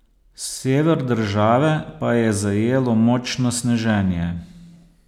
Sever države pa je zajelo močno sneženje.